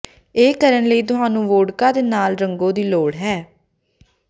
ਇਹ ਕਰਨ ਲਈ ਤੁਹਾਨੂੰ ਵੋਡਕਾ ਦੇ ਨਾਲ ਰੰਗੋ ਦੀ ਲੋੜ ਹੈ